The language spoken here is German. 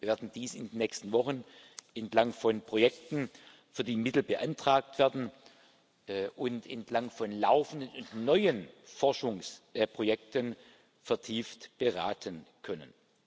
Wir werden dies in den nächsten Wochen entlang von Projekten, für die Mittel beantragt werden, und entlang von laufenden und neuen Forschungsprojekten vertieft beraten können.